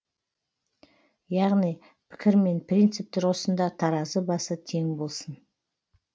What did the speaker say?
яғни пікір мен принцип тұрғысында таразы басы тең болсын